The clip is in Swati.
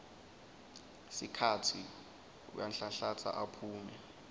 sikhatsi uyanhlanhlatsa aphume